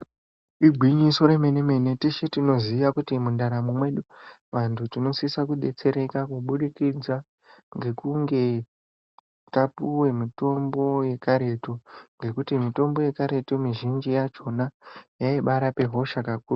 Ingwinyiso re mene mene teshe tinoziya kuti mu ndaramo mwedu vantu tinosisa ku detsereka kubudikidza ngekunge tapuwe mitombo ye karetu ngekuti mutombo ye karetu mi zhinji yachona yaibai rape hosha kakurutu.